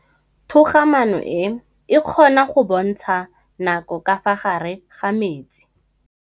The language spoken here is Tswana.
Toga-maanô e, e kgona go bontsha nakô ka fa gare ga metsi.